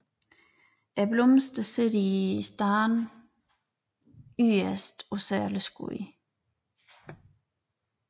Blomsterne sidder i stande yderst på særlige skud